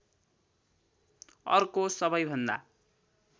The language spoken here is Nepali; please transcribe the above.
अर्को सबैभन्दा